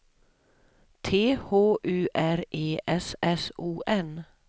T H U R E S S O N